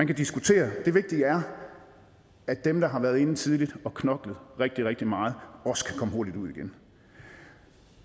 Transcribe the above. kan diskutere det vigtige er at dem der har været inde tidligt og har knoklet rigtig rigtig meget også kan komme hurtigt ud igen